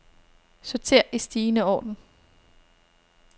Sorter i stigende orden.